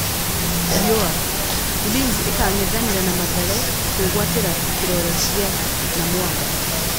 (Riua) Ulinzi ĩkang'ethanĩra na Mathare kwĩgwatĩra kĩrore gĩa Namwamba.